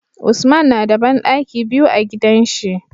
Usman nada banɗaki biyu a gidan shi